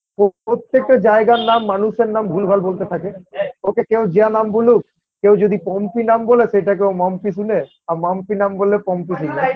ও প্রত্যেকটা জায়গার নাম মানুষের নাম ভুলভাল বলতে থাকে ওকে কেউ যা নাম বলুক কেউ যদি পম্পি নাম বললে মাম্পি শোনে আর মাম্পি নাম বললে পম্পি শোনে।